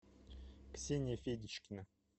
ксения федичкина